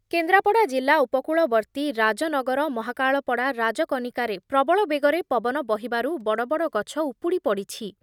କେନ୍ଦ୍ରାପଡ଼ା ଜିଲ୍ଲା ଉପକୂଳବର୍ତ୍ତୀ ରାଜନଗର, ମହାକାଳପଡ଼ା, ରାଜକନିକାରେ ପ୍ରବଳ ବେଗରେ ପବନ ବହିବାରୁ ବଡ଼ବଡ଼ ଗଛ ଉପୁଡ଼ି ପଡ଼ିଛି।